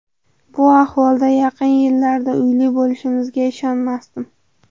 Bu ahvolda yaqin yillarda uyli bo‘lishimizga ishonmasdim.